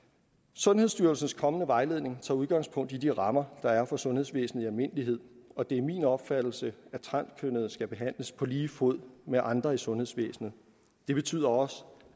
sundhedsstyrelsens kommende vejledning tager udgangspunkt i de rammer der er for sundhedsvæsenet i almindelighed og det er min opfattelse at transkønnede skal behandles på lige fod med andre i sundhedsvæsenet det betyder også